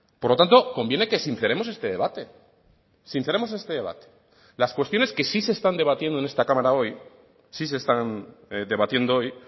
por lo tanto conviene que sinceremos este debate sinceremos este debate las cuestiones que sí se están debatiendo en esta cámara hoy sí se están debatiendo hoy